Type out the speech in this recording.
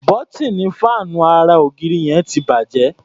Bọ́tíìnì fáànù ara -ògiri yẹn ti bàjẹ́.